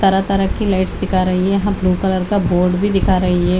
तरह तरह की लाइटस् दिखा रही है यहाँ ब्लू कलर का बोर्ड भी दिखा रही है।